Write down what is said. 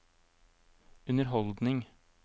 underholdning